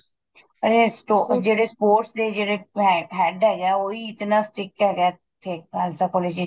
ਇਹ ਜਿਹੜੇ sports ਦੇ ਜਿਹੜੇ head ਹੈਗਾ ਉਹੀ ਇਤਨਾ strict ਹੈਗਾ ਉੱਥੇ ਖਾਲਸਾ college ਵਿੱਚ